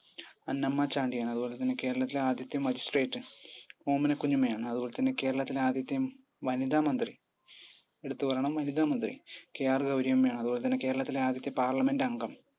അന്നമ്മ ചാണ്ടി ആണ് അതുപോലെത്തന്നെ കേരളത്തിലെ ആദ്യത്തെ magistrate ഓമനക്കുഞ്ഞമ്മ ആണ് അതുപോലെത്തന്നെ കേരളത്തിലെ ആദ്യത്തെ വനിതാ മന്ത്രി? എടുത്തുപറയണം വനിതാ മന്ത്രി KR ഗൗരിയമ്മ ആണ് അതുപോലെത്തന്നെ കേരളത്തിലെ ആദ്യത്തെ parliament അംഗം